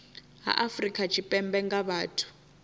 ha afrika tshipembe nga vhathu